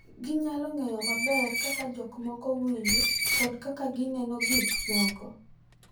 Ginyalo ng’eyo maber kaka jomoko winjo kod kaka gineno gik moko.